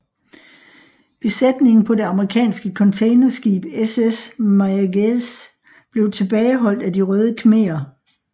Besætningen på det amerikanske containerskib SS Mayaguez blev tilbageholdt af De Røde Khmerer